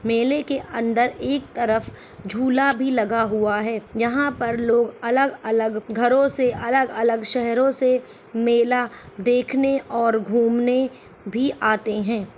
मेले के अंदर एक तरफ झूला भी लगा हुआ है यहां पर लोग अलग अलग घरो से अलग अलग सहरो से मेला और देखने और घुमने भी आते हैं |